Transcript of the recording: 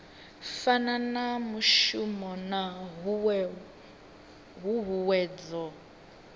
fana na mushumo na huhuwedzo